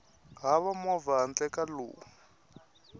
hava movha handle ka lowu